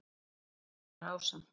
Gunnar var ásamt